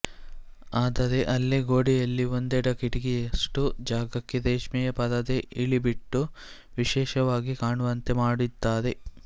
ಆದರೆ ಅಲ್ಲೇ ಗೋಡೆಯಲ್ಲಿ ಒಂದೆಡೆ ಕಿಟಕಿಯಷ್ಟು ಜಾಗಕ್ಕೆ ರೇಷ್ಮೆಯ ಪರದೆ ಇಳಿಬಿಟ್ಟು ವಿಶೇಷವಾಗಿ ಕಾಣುವಂತೆ ಮಾಡಿದ್ದಾರೆ